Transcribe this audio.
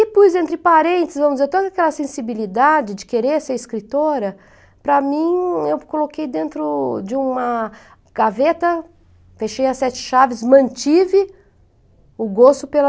E pus entre parênteses, vamos dizer, toda aquela sensibilidade de querer ser escritora, para mim, eu coloquei dentro de uma gaveta, fechei as sete chaves, mantive o gosto pela...